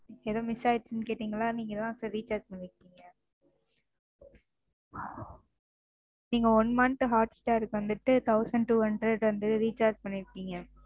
Miss ஆயிருச்சுன்னு கேட்டீங்கல்ல நீங்க தான் Sir recharge பண்ணிருக்கீங்க. நீங்க One month hotstar க்கு வந்துட்டு Thousand two hundred வந்து Recharge பண்ணிருக்கீங்க.